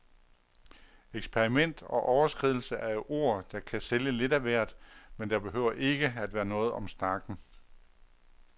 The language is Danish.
Eksperiment og overskridelse er jo ord, der kan sælge lidt af hvert, men der behøver ikke at være noget om snakken.